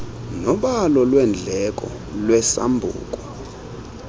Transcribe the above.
nobalo lweendleko lwesambuku